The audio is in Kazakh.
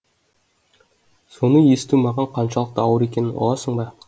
соны есту маған қаншалықты ауыр екенін ұғасың ба